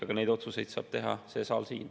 Aga neid otsuseid saab teha see saal siin.